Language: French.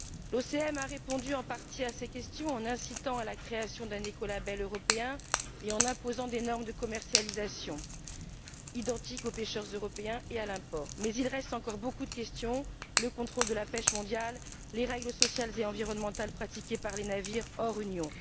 L'OCM a répondu en partie à ces questions en incitant à la création d'un écolabel européen et en imposant des normes de commercialisation identiques aux pêcheurs européens et à l'importation, mais il reste encore beaucoup de questions, notamment le contrôle de la pêche mondiale et les règles sociales et environnementales pratiquées par les navires hors Union.